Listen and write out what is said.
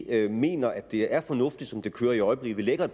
er vi mener at det er fornuftigt som det kører i øjeblikket vi lægger